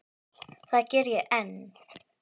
Það geri ég enn.